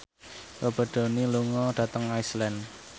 Robert Downey lunga dhateng Iceland